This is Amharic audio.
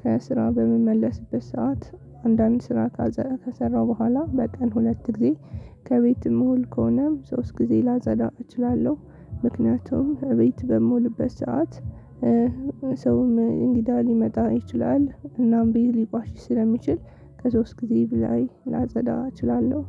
ከስራ በምመለስበት ሰዓት አንዳንድ ስራ ከሰረ ከሰራው በኋላ በቀን ሁለት ጊዜ ከቤት የምውል ከሆነም ሶስት ጊዜ ላጠዳው እችላለሁ። ምክንያቱም እቤት በምውልበት ሰዓት ሰውም እንግዳ ሊመጣ ይችላል። እናም ቢይልባቸው ስለሚችል ከሶስት ጊዜ በላይ ላጸዳ እችላለሁ።